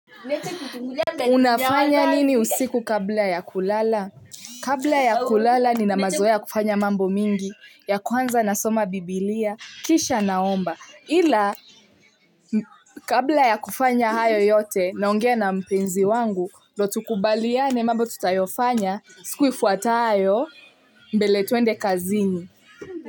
Unafanya nini usiku kabla ya kulala? Kabla ya kulala nina mazoea ya kufanya mambo mingi. Ya kwanza nasoma biblia, kisha naomba. Ila kabla ya kufanya hayo yote, naongea na mpenzi wangu, ndio tukubaliane mambo tutayofanya, siku ifuatayo mbele tuende kazini.